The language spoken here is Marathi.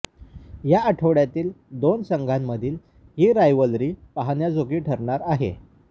या आठवड्यातील दोन संघांमधील ही रायव्हलरी पाहण्याजोगी ठरणार आहे